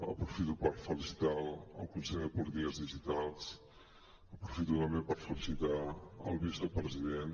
aprofito per felicitar el conseller de polítiques digitals aprofito també per felicitar el vicepresident